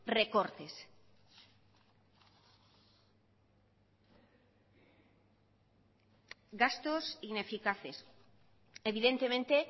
recortes gastos ineficaces evidentemente